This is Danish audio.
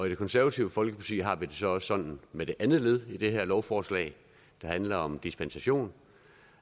i det konservative folkeparti har vi så også sådan med det andet led i det her lovforslag der handler om dispensation